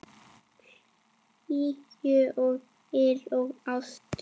Hlýju og yl og ást.